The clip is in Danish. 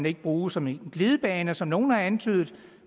ikke bruges som en glidebane som nogle har antydet